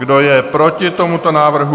Kdo je proti tomuto návrhu?